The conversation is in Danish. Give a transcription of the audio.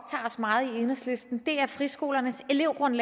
friskoler herunder